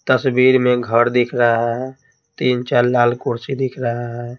तस्वीर में घर दिख रहा है तीन चार लाल कुर्सी दिख रहा है।